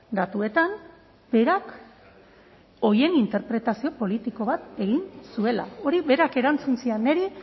datuetan berak horien interpretazio politiko bat egin zuela hori berak erantzun zidan niri